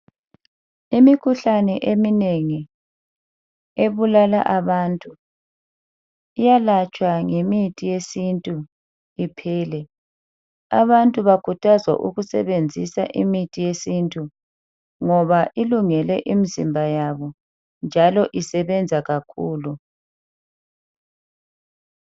Imikhuhlane eminengi ebulala abantu iyalatshwa ngemithi yesintu iphele abantu bakhuthazwa ukusebenzisa imithi yesintu ngoba ilungele imzimba yabo njalo isebenza kakhulu.